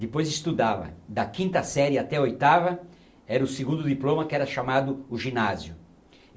Depois estudava da quinta série até a oitava, era o segundo diploma que era chamado o ginásio.